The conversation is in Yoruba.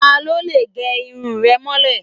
Ta ló lè gẹ irun rẹ̀ mọ́lẹ̀?